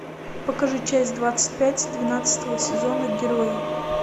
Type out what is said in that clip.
покажи часть двадцать пять двенадцатого сезона герои